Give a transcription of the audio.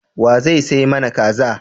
Wa zai sai mana Kaza.